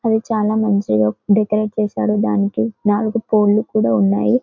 అది చాలా మంచిగా డెకరేట్ చేశారు దానికి నాలుగు పోల్స్ కూడా ఉన్నాయి .